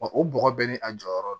o bɔgɔ bɛɛ ni a jɔyɔrɔ do